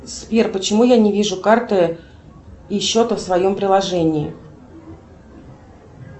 сбер почему я не вижу карты и счета в своем приложении